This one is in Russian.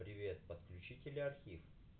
привет подключить или архив